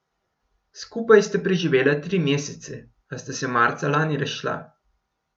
Skupaj sta preživela tri mesece, a sta se marca lani razšla.